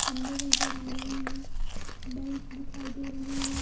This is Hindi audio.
खंभे नजर आ रहे है बेंच दिखाई दे रही है।